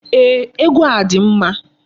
Ee, egwu a dị mma.